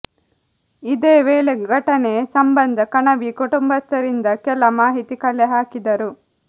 ಇದೇ ವೇಳೆ ಘಟನೆ ಸಂಬಂಧ ಕಣವಿ ಕುಟುಂಬಸ್ಥರಿಂದ ಕೆಲ ಮಾಹಿತಿ ಕಲೆ ಹಾಕಿದರು